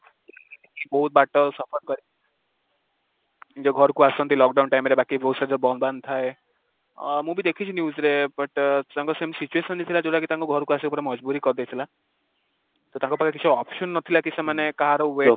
ବହୁତ ବାଟ କରି ନିଜ ଘରକୁ ଆସନ୍ତି lockdown time ରେ ବାକି ବହୁତ ସାରା ବନ୍ଦ ବାନ୍ଦ ଥାଏ, ମୁଁ ବି ଦେଖିଛି news ରେ but ତାଙ୍କ ସେମିତି situation ଥିଲା ଯୋଉଟା କି ତାଙ୍କୁ କରିଦେଇଥିଲା, ତ ତାଙ୍କ ପାଖରେ କିଛି option ନଥିଲା କି ସେମାନେ କାହାର